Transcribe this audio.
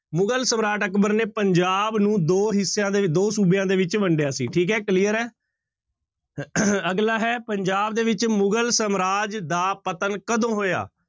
ਮੁਗ਼ਲ ਸਮਰਾਟ ਅਕਬਰ ਨੇ ਪੰਜਾਬ ਨੂੰ ਦੋ ਹਿੱਸਿਆਂ ਦੇ, ਦੋ ਸੂਬਿਆਂ ਦੇ ਵਿੱਚ ਵੰਡਿਆ ਸੀ ਠੀਕ ਹੈ clear ਹੈ ਅਗਲਾ ਹੈ ਪੰਜਾਬ ਦੇ ਵਿੱਚ ਮੁਗ਼ਲ ਸਮਰਾਜ ਦਾ ਪਤਨ ਕਦੋਂ ਹੋਇਆ?